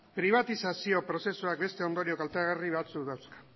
pribatizazio prozesuak beste ondorio kaltegarri batzuk dauzka